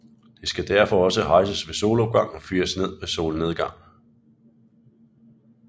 Det skal derfor også hejses ved solopgang og fires ved solnedgang